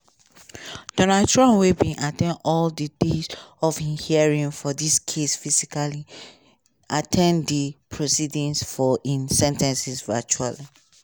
donald trump wey bin at ten d all di days of im hearing for dis case physically at ten d di proceedings for im sen ten cing virtually.